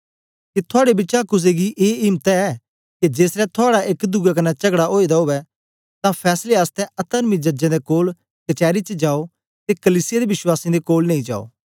के थुआड़े बिचा कुसे गी ए इम्त ऐ के जेसलै थुआड़ा एक दुए कन्ने चगडा ओए दा उवै तां फैसले आसतै अतर्मी जजें दे कोल कचैरी च जायो ते कलीसिया दे वश्वासीयें दे कोल नेई जायो